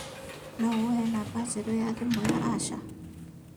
no ũhe namba njerũ ya thimũ ya ya Asha